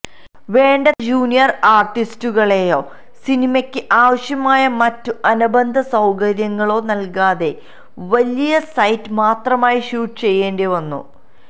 വേണ്ടത്ര ജൂനിയര് ആര്ട്ടിസ്റ്റുകളെയോ സിനിമക്ക് ആവശ്യമായ മറ്റ് അനുബന്ധ സൌകര്യങ്ങളോ നല്കാതെ വലിയ സൈറ്റ് മാത്രമായി ഷൂട്ട് ചെയ്യേണ്ടി വന്നു